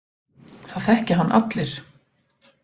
Það þekkja hann allir.